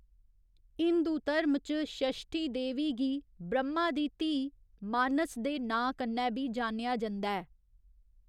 हिन्दू धर्म च षश्ठी देवी गी ब्रह्मा दी धीऽ मानस दे नांऽ कन्नै बी जानेआ जंदा ऐ।